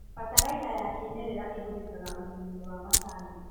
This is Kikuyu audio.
Bataraitha ya kĩmerera ĩhũthĩkaga ũrĩmi-inĩ wa macani.